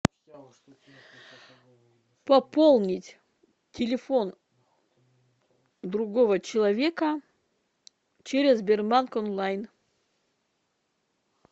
пополнить телефон другого человека через сбербанк онлайн